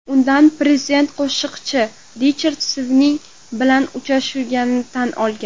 Unda prezident qo‘shiqchi Richard Sving bilan uchrashganini tan olgan.